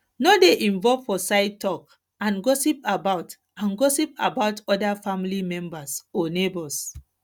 no dey involve for side talk and gossip about and gossip about oda family members or neigbours